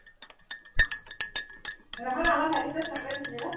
সেইদিনাখন আমাৰ ভাইটিটোক দিছিলি ন?